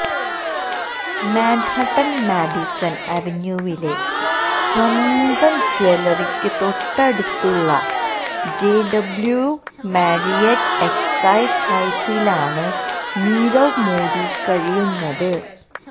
Manhattan Madison അവന്യൂവിലെ സ്വന്തം ജ്വല്ലറിക്ക് തൊട്ടടുത്തുള്ള ജെഡബ്ലിയൂ മാരിയറ്റ് എസെക്സ് ഹൌസിലാണ് നീരവ് മോദി കഴിയുന്നത്